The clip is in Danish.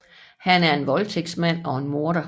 Han er en voldtægtsmand og en morder